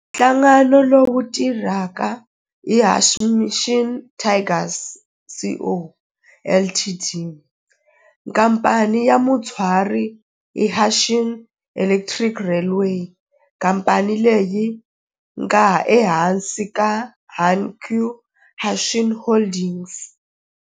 Nhlangano lowu tirhaka i Hanshin Tigers Co., Ltd. Khamphani ya mutswari i Hanshin Electric Railway khamphani leyi nga ehansi ka Hankyu Hanshin Holdings.